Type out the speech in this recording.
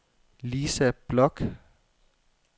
Lisa Bloch